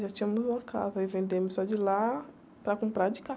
Já tínhamos uma casa aí vendemos a de lá para comprar a de cá.